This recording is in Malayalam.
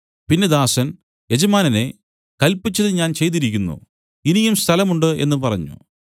പിന്നെ ദാസൻ യജമാനനേ കല്പിച്ചത് ഞാൻ ചെയ്തിരിക്കുന്നു ഇനിയും സ്ഥലം ഉണ്ട് എന്നു പറഞ്ഞു